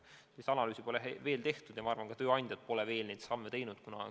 Sellist analüüsi pole veel tehtud ja ma arvan, et ka tööandjad pole veel neid samme astunud.